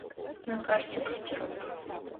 на карте гардероб